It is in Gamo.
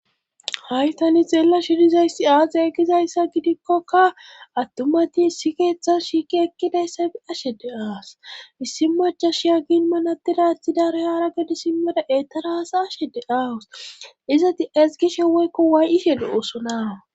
hay tani xeellashr dizayssi aze gizaysa gidikkokka attumati isi keeththa shiiki ekkidayssa bi ashede aas issi majashiya ginmanadidathi daro haara godi simmada etaraas ashede awus izati ezgishe weykko waay7ishe do osona